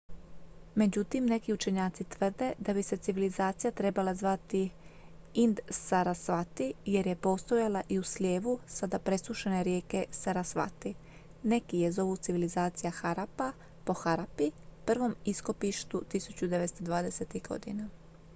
međutim neki učenjaci tvrde da bi se civilizacija trebala zvati ind-sarasvati jer je postojala i u slijevu sada presušene rijeke sarasvati neki je zovu civilizacija harappa po harappi prvom iskopištu 1920-ih godina